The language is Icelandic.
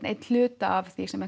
einn hluta af því sem